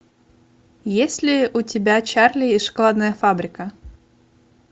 есть ли у тебя чарли и шоколадная фабрика